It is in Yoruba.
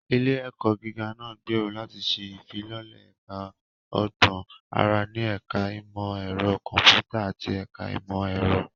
Ilé-ẹ̀kọ́ gíga náà gbèrò láti ṣe ìfilọ́lẹ̀ Ẹ̀ka Ọgbọ́n Àrà ní Ẹ̀ka Ìmọ̀ Ẹ̀rọ Kọ̀m̀pútà àti Ẹ̀ka Ìmọ̀ Ẹ̀rọ.